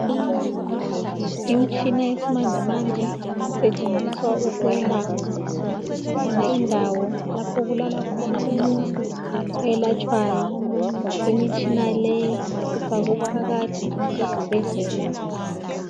Imtshina yesmanjemanje isetshenziswa ukwelapha .Kulendawo lapho kulala khona umuntu oyelatshwayo . Imitshina leyi ifakwe phakathi kwesibhedlela .